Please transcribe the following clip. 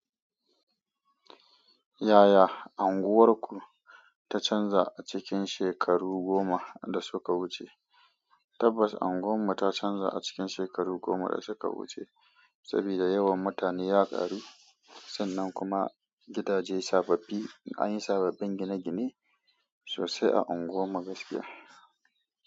Yaya unguwarku ta canza a cikin shekaru goma da suka wuce? Tabbas unguwar mu ta canza a cikin shekaru goma da suka wuce saboda yawan mutane ya ƙaru sannan kuma gidaje sababbi an yi sababbin gine-gine sosai a unguwar mu gaskiya.